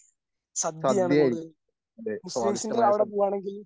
സദ്യയായിരിക്കും നല്ല സ്വാദിഷ്ടമായ സദ്യ